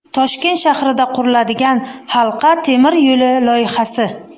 Toshkent shahrida quriladigan halqa temir yo‘li loyihasi.